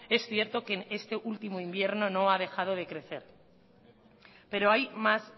es cierto que en este último invierno no ha dejado de crecer pero hay más